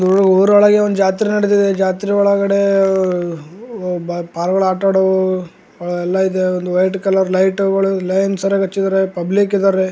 ಊರೊಳಗೆ ಒಂದು ಜಾತ್ರೆ ನಡೀತಿದೆ ಜಾತ್ರೆ ಒಳಗೆ ಆಹ್ಹ್ ಪಾರಿವಾಳ ಆಟಾಡೋ ಎಲ್ಲಾ ಇದೆ ಒಂದು ವೈಟ್ ಕಲರ್ ಲೈಟ್ಗಳು ಲೈನ್ ಸರಿಯಾಗ್ ಹಚ್ಚಿದಾರೆ ಪಬ್ಲಿಕ್ ಇದ್ದಾರೆ .